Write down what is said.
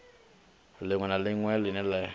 ḽiṅwe na ḽiṅwe ḽine ḽa